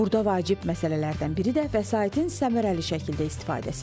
Burda vacib məsələlərdən biri də vəsaitin səmərəli şəkildə istifadəsidir.